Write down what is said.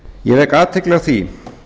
ég vek athygli á því